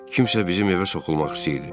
Kimsə bizim evə soxulmaq istəyirdi.